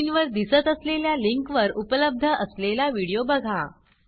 स्क्रीनवर दिसत असलेल्या लिंकवर उपलब्ध असलेला व्हिडिओ बघा